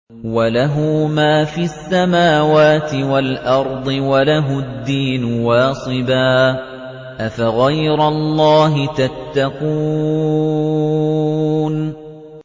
وَلَهُ مَا فِي السَّمَاوَاتِ وَالْأَرْضِ وَلَهُ الدِّينُ وَاصِبًا ۚ أَفَغَيْرَ اللَّهِ تَتَّقُونَ